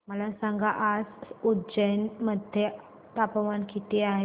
मला सांगा आज उज्जैन मध्ये तापमान किती आहे